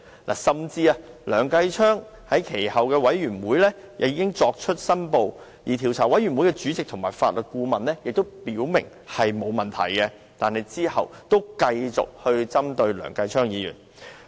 其後，即使梁議員在專責委員會作出申報，而專責委員會主席及法律顧問均表明沒有問題，梁振英仍繼續針對他。